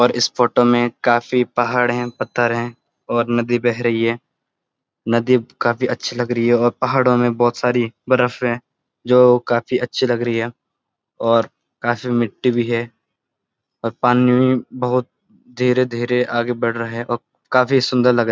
और इस फोटो में काफी पहाड़ हैं पत्थर हैं और नदी बह रही है नदी काफी अच्‍छी लग रही है और पहाड़ो में बहुत सारी वर्फ है जो काफी अच्‍छी लग रही है और काफी मिट्टी भी है और पानी बहोत धीरे-धीरे आगे बढ़ रहा है और काफी सुन्‍दर लग रहा --